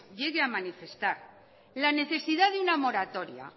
llegue a manifestar la necesidad de una moratoria